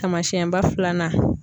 Taamasiyɛnba filanan.